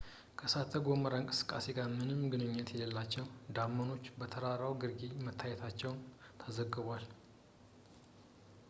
ከእሳተ-ገሞራ እንቅስቃሴ ጋር ምንም ግንኙነት የሌላቸው ደመናዎች በተራራው ግርጌ መታየታቸው ተዘግቧል